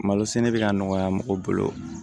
Malo sɛnɛ bɛ ka nɔgɔya mɔgɔ bolo